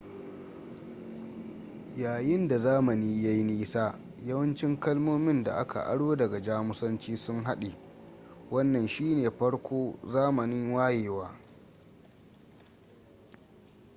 yayin da zamani ya yi nisa yawancin kalmomin da aka aro daga jamusanci sun haɗe wannan shi ne farko zamanin wayewa